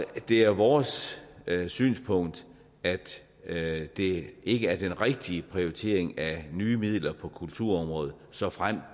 det er vores synspunkt at det ikke er den rigtige prioritering af nye midler på kulturområdet såfremt